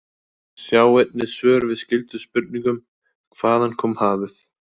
Sjá einnig svör við skyldum spurningum: Hvaðan kom hafið?